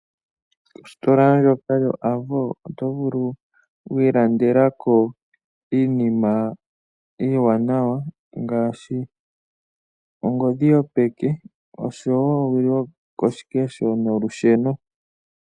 Ositola ndjoka yoAvo oto vulu okwi ilandela ko iinima iiwanawa. Ngaashi ongodhi yopeke, oshowo owili yokoshikesho nolusheno.